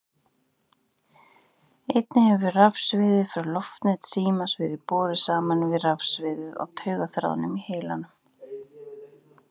Einnig hefur rafsviðið frá loftneti símans verið borið saman við rafsviðið á taugaþráðum í heilanum.